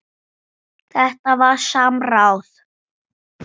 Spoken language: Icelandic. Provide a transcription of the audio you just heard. Þetta var samráð.